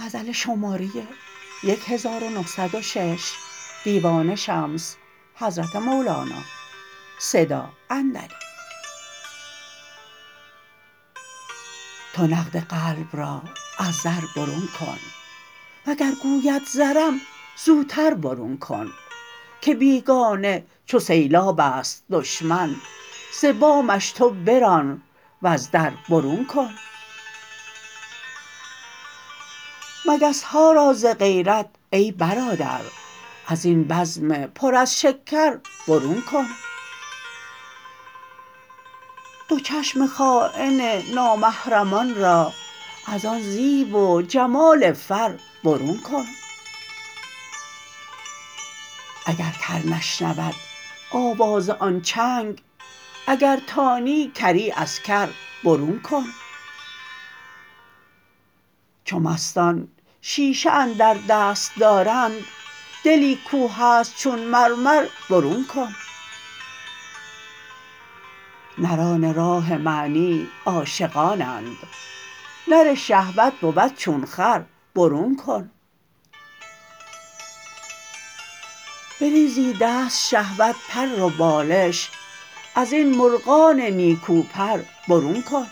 تو نقد قلب را از زر برون کن وگر گوید زرم زوتر برون کن که بیگانه چو سیلاب است دشمن ز بامش تو بران وز در برون کن مگس ها را ز غیرت ای برادر از این بزم پر از شکر برون کن دو چشم خاین نامحرمان را از آن زیب و جمال فر برون کن اگر کر نشنود آواز آن چنگ اگر تانی کری از کر برون کن چو مستان شیشه اندر دست دارند دلی کو هست چون مرمر برون کن نران راه معنی عاشقانند نر شهوت بود چون خر برون کن بریزیدست شهوت پر و بالش از این مرغان نیکو پر برون کن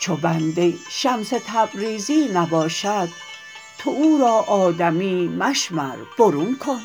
چو بنده شمس تبریزی نباشد تو او را آدمی مشمر برون کن